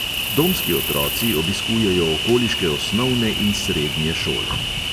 Domski otroci obiskujejo okoliške osnovne in srednje šole.